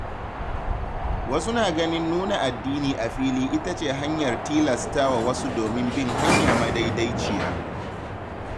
Wasu na ganin nuna addini a fili ita ce hanyar tilasta wa wasu domin bin hanya madaidaiciya.